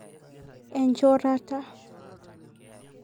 Enchorata.